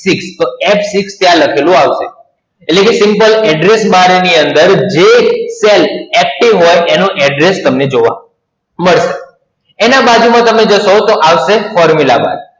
છ તો F છ ત્યાં લખેલું આવશે. એટલે જો simple Address Bar ની અંદર, જે cell active હોય તેનું address તમને જોવા મળશે. એના બાજુમાં તમે જશો, તો આવશે Formula Bar